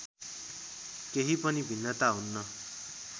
केही पनि भिन्नता हुन्न